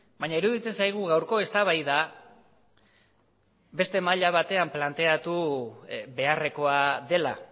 baina iruditzen zaigu gaurko eztabaida beste maila batean planteatu beharrekoa dela